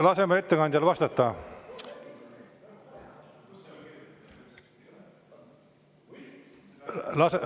Laseme ettekandjal vastata!